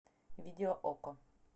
видео окко